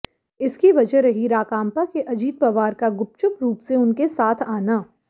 इसकी वजह रही राकांपा के अजीत पवार का गुपचुप रूप से उनके साथ आना